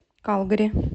калгари